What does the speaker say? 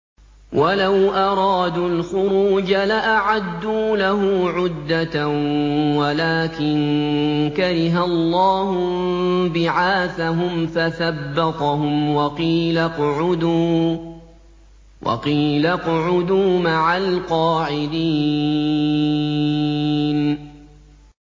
۞ وَلَوْ أَرَادُوا الْخُرُوجَ لَأَعَدُّوا لَهُ عُدَّةً وَلَٰكِن كَرِهَ اللَّهُ انبِعَاثَهُمْ فَثَبَّطَهُمْ وَقِيلَ اقْعُدُوا مَعَ الْقَاعِدِينَ